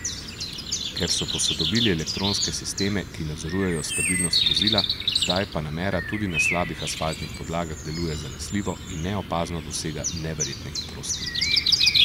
Ker so posodobili elektronske sisteme, ki nadzorujejo stabilnost vozila, zdaj panamera tudi na slabih asfaltnih podlagah deluje zanesljivo in neopazno dosega neverjetne hitrosti.